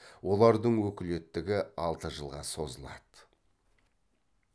олардың өкілеттігі алты жылға созылады